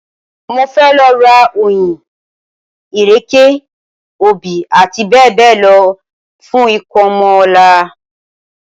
Mo fẹ́ lọ ra oyin, ìrèké, obì àti bẹ́ẹ̀bẹ́ẹ̀ lọ fún ìkómọ ọ̀la